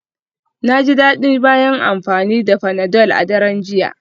Na ji daɗi bayan amfani da panadol a daren jiya.